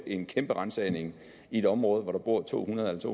en kæmpe ransagning i et område hvor der bor to hundrede til